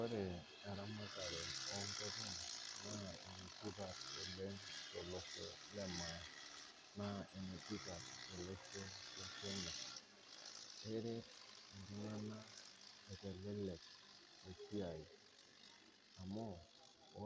Ore eramatare onkoken naa kesupat oleng te losho le maa naa enetipat te losho le [s]kenya, eret ltungana eitelelek esiai amuu